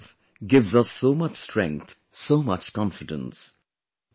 This resolve gives us so much strength, so much confidence